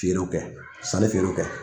Feerew kɛ, sani feerew kɛ.